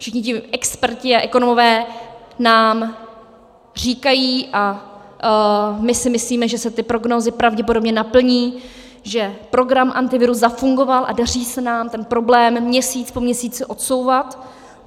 Všichni ti experti a ekonomové nám říkají, a my si myslíme, že se ty prognózy pravděpodobně naplní, že program Antivirus zafungoval a daří se nám ten problém měsíc po měsíci odsouvat.